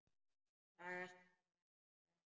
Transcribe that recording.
Saga sem hefur ekki elst.